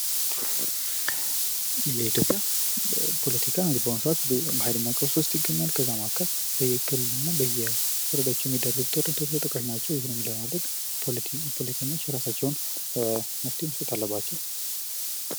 የኢትዮጵያ ፖለቲካ እንግዲ በአሁኑ ሰዓት በሃይለኛ ቀውስ ውስጥ ይገኛል ከዛ ማዕከል በየኩልና በየቦታው የሚደረጉ ጦርነቶች ተጠቃሽ ናቸው። ይህንም ለመቀነስ ፖለቲከኞች የራሳቸውን መፍትሄ መስጠት አለባቸው።